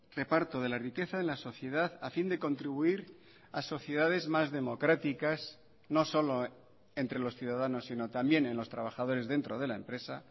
reparto de la riqueza en la sociedad a fin de contribuir a sociedades más democráticas no solo entre los ciudadanos sino también en los trabajadores dentro de la empresa